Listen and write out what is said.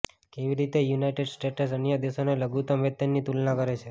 કેવી રીતે United States અન્ય દેશોને લઘુત્તમ વેતનની તુલના કરે છે